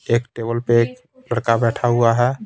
एक टेबल पे एक लड़का बैठा हुआ है ।